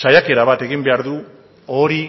saiakera bat egin behar du hori